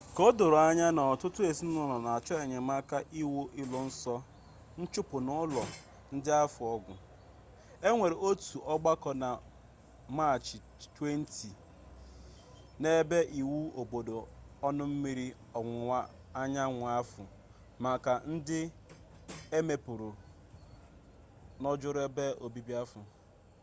ka o doro anya na ọtụtụ ezinụlo na-achọ enyemaka iwu iluso nchụpụ n'ụlọ ndị ahụ ọgụ e nwere otu ọgbako na maachị 20 n'ebe iwu obodo ọnụ mmiri ọwụwa anyanwu ahụ maka ndị e megburu n'ojoro ebe obibi ahụ